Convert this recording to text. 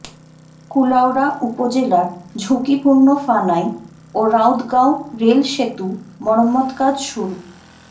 কুলাউড়া উপজেলার ঝুঁকিপূর্ণ ফানাই ও রাউৎগাঁও রেলসেতু মেরামতকাজ শুরু